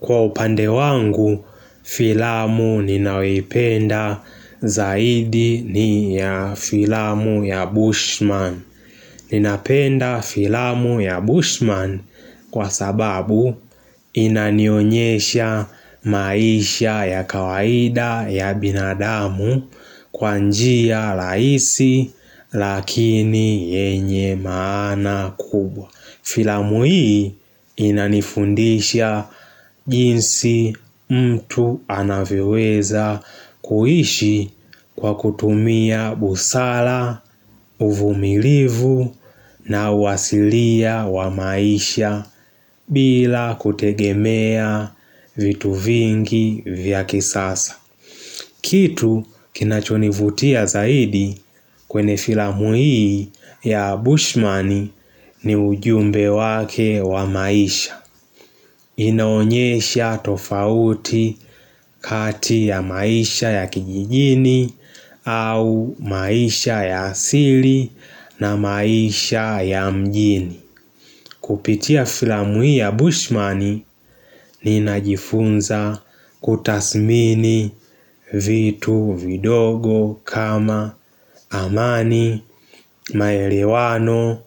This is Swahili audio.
Kwa upande wangu filamu ninayoipenda zaidi ni ya filamu ya Bushman. Ninapenda filamu ya Bushman kwa sababu inanionyesha maisha ya kawaida ya binadamu kwa njia rahisi lakini yenye maana kubwa. Filamu hii inanifundisha jinsi mtu anavyoweza kuishi kwa kutumia busara, uvumilivu na wasilia wa maisha bila kutegemea vitu vingi vya kisasa. Kitu kinachonivutia zaidi kwenye filamu hii ya Bushman ni ujumbe wake wa maisha. Inaonyesha tofauti kati ya maisha ya kijijini au maisha ya asili na maisha ya mjini. Kupitia filamu hii ya Bushman ninajifunza kuthamini vitu vidogo kama amani, maelewano